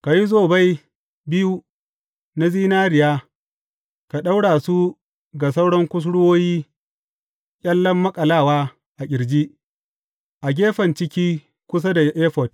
Ka yi zobai biyu na zinariya ka ɗaura su ga sauran kusurwoyi ƙyallen maƙalawa a ƙirji, a gefen ciki kusa da efod.